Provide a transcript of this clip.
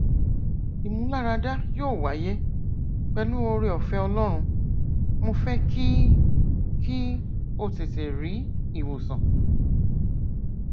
ìmúláradá yóò wáyé pẹlú ooreọfẹ ọlọrun mo fẹ kí kí o tètè rí ìwòsàn